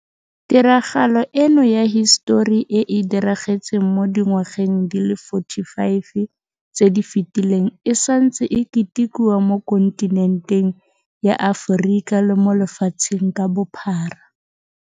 Tiragalo eno ya hisetori e e diragetseng mo dingwageng di le 45 tse di fetileng e santse e ketikiwa mo kontinenteng ya Aforika le mo lefatsheng ka bophara.